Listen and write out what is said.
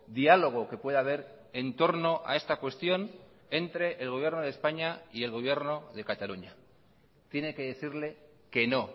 diálogo que puede haber en torno a esta cuestión entre el gobierno de españa y el gobierno de cataluña tiene que decirle que no